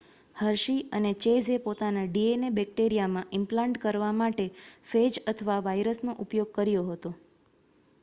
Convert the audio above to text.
Hershey અને ચેઝે પોતાના ડીએનએને બેક્ટેરિયામાં ઇમ્પ્લાન્ટ કરવા માટે ફેજ અથવા વાઇરસનો ઉપયોગ કર્યો હતો